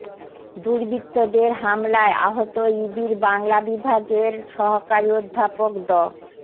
দুর্বৃত্তদের হামলায় আহত ইবির বাংলা বিভাগের সহকারী অধ্যাপক ড